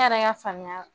Ne yɛrɛ ka faamuya la